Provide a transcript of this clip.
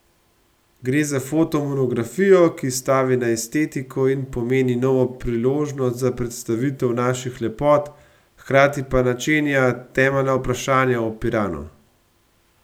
Gre za fotomonografijo, ki stavi na estetiko in pomeni novo priložnost za predstavitev naših lepot, hkrati pa načenja temeljna vprašanja o Piranu.